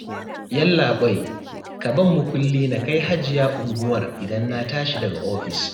Yallaɓai, ka ban mukulli na kai Hajiya unguwar idan na tashi daga ofis